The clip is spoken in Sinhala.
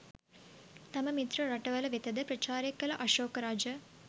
තම මිත්‍ර රටවල වෙත ද ප්‍රචාරය කළ අශෝක රජ